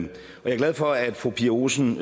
er glad for at fru pia olsen